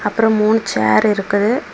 அப்ரம் மூணு சேர் இருக்கு.